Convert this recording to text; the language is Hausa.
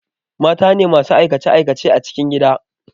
Matane masu aikace aikace a cikin gida